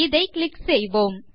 இதை கிளிக் செய்வோம்